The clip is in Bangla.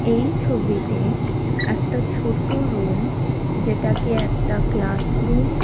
এই ছবিতে একটা ছোট রুম যেটাকে একটা ক্লাসরুম --